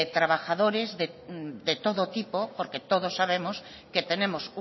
trabajadores de todo tipo porque todos sabemos que tenemos